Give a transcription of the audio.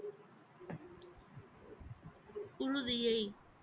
புழுதியை